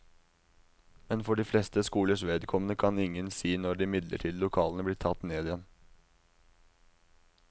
Men for de fleste skolers vedkommende kan ingen kan si når de midlertidige lokalene blir tatt ned igjen.